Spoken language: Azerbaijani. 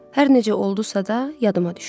Hər necə oldusa da,